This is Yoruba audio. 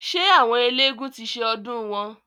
Ṣé àwọn eélégún ti ṣe ọdùn wọn?